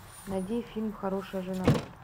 найди фильм хорошая жена